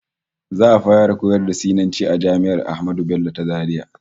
Za'a fara koyar da Sinanci a jami'ar Ahmadu Bello ta Zaria